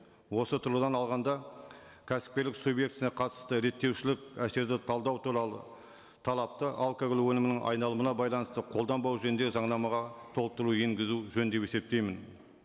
осы тұрғыдан алғанда кәсіпкерлік субъектісіне қатысты реттеушілік әсерді талдау туралы талапты алкоголь өнімінің айналымына байланысты қолданбау жөніндегі заңнамаға толықтыру енгізу жөн деп есептеймін